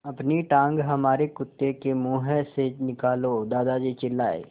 अपनी टाँग हमारे कुत्ते के मुँह से निकालो दादाजी चिल्लाए